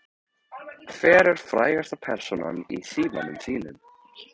Hver er frægasta persónan í símanum þínum?